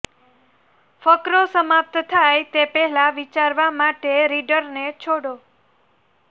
ફકરો સમાપ્ત થાય તે પહેલાં વિચારવા માટે રીડરને છોડો